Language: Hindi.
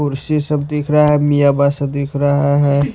कुर्सी सब दिख रहा है मिया बासा दिख रहा है।